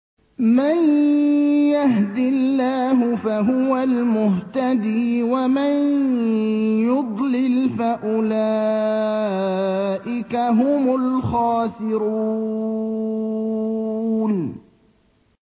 مَن يَهْدِ اللَّهُ فَهُوَ الْمُهْتَدِي ۖ وَمَن يُضْلِلْ فَأُولَٰئِكَ هُمُ الْخَاسِرُونَ